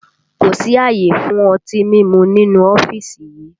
Kò sí àyè fún ọtí mímu nínú ọ́fíìsì yìí!